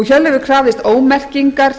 hjörleifur krafðist ómerkingar